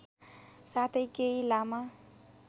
साथै केही लामा